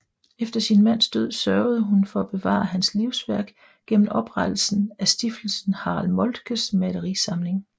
Efter sin mands død sørgede hun for at bevare hans livsværk gennem oprettelsen af stiftelsen Harald Moltkes malerisamling